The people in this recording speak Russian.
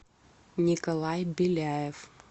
николай беляев